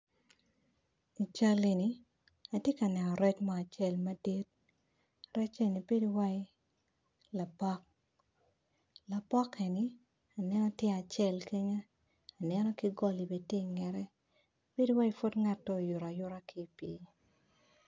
I cal eni atye ka neno rec mo acel madit rec eni bedo wai lapok lapok eni aneno tye acel kene aneno kigoli bene tye ingete beno wai pud ngat oyuta ayuta ki pi.